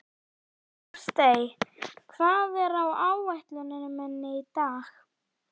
Ástey, hvað er á áætluninni minni í dag?